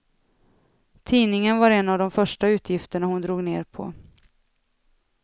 Tidningen var en av de första utgifterna hon drog ner på.